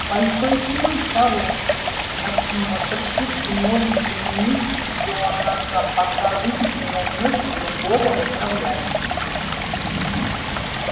большой сэм хороший надсмотрщик и может заменить джонаса пока вы не наймёте другого управляющего